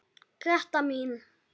Gréta mín.